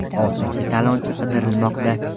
Oltinchi talonchi qidirilmoqda.